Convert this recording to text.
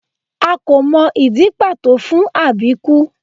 A kò mọ ìdí pàtó fún àbíkú